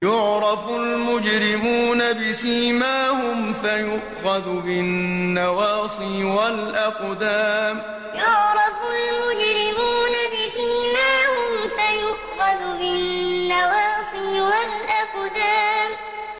يُعْرَفُ الْمُجْرِمُونَ بِسِيمَاهُمْ فَيُؤْخَذُ بِالنَّوَاصِي وَالْأَقْدَامِ يُعْرَفُ الْمُجْرِمُونَ بِسِيمَاهُمْ فَيُؤْخَذُ بِالنَّوَاصِي وَالْأَقْدَامِ